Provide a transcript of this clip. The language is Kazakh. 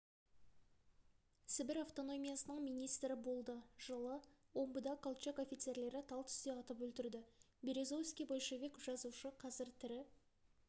сібір автономиясының министрі болды жылы омбыда колчак офицерлері тал түсте атып өлтірді березовский большевик-жазушы қазір тірі